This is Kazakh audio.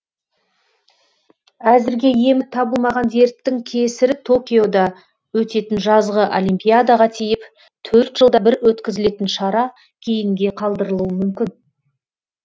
әзірге емі табылмаған дерттің кесірі токиода өтетін жазғы олимпиадаға тиіп жылда бір өткізілетін шара кейінге қалдырылуы мүмкін